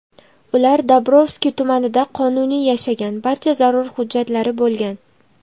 Ular Dobrovskiy tumanida qonuniy yashagan, barcha zarur hujjatlari bo‘lgan.